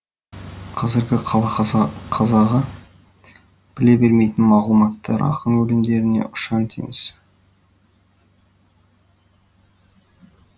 қазіргі қала қазағы біле бермейтін мағлұматтар ақын өлеңдерінде ұшан теңіз